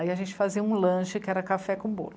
Aí a gente fazia um lanche, que era café com bolo.